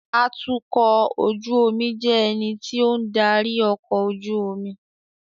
Atukọ̀ ojú omi jẹ́ ẹni tí ó ń darí ọkọ̀ ojú omi